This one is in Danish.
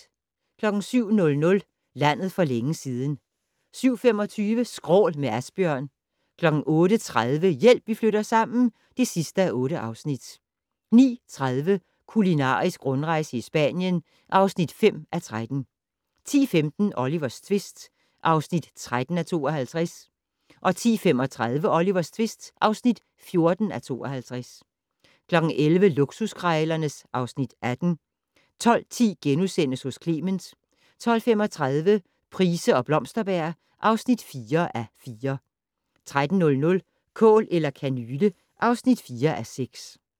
07:00: Landet for længe siden 07:25: Skrål - med Asbjørn 08:30: Hjælp, vi flytter sammen (8:8) 09:30: Kulinarisk rundrejse i Spanien (5:13) 10:15: Olivers tvist (13:52) 10:35: Olivers tvist (14:52) 11:00: Luksuskrejlerne (Afs. 18) 12:10: Hos Clement * 12:35: Price og Blomsterberg (4:4) 13:00: Kål eller kanyle (4:6)